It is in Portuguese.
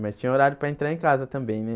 Mas tinha horário para entrar em casa também, né?